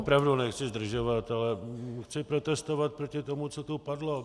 Opravdu nechci zdržovat, ale chci protestovat proti tomu, co tu padlo.